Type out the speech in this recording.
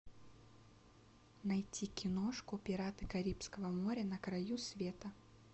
найти киношку пираты карибского моря на краю света